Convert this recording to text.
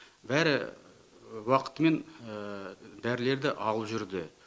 бәрі уақытымен дәрілерді алып жүрді